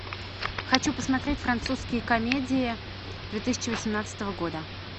хочу посмотреть французские комедии две тысячи восемнадцатого года